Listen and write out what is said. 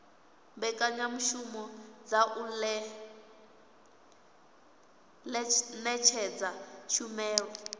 mbekanyamushumo dza u ṅetshedza tshumelo